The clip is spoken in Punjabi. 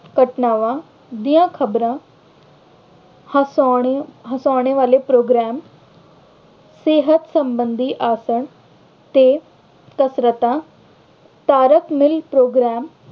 ਘਟਨਾਵਾਂ ਦੀਆਂ ਖਬਰਾਂ ਹਸਾਉਣ ਹਸਾਉਣੇ ਵਾਲੇ program ਸਿਹਤ ਸੰਬੰਧੀ ਆਸਨ ਤੇ ਕਸਰਤਾਂ, ਧਾਰਮਿਕ program